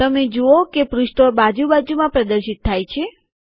તમે જુઓ કે જે પૃષ્ઠો બાજુ બાજુમાં પ્રદર્શિત થાય છે